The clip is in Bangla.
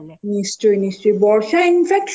নিশ্চয়ই নিশ্চয়ই